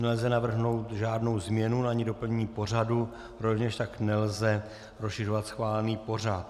Nelze navrhnout žádnou změnu ani doplnění pořadu, rovněž tak nelze rozšiřovat schválený pořad.